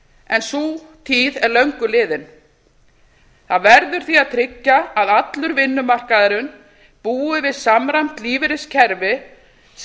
en sú tíð er löngu liðin það verður því að tryggja að allur vinnumarkaðurinn búi við samræmt lífeyriskerfi sem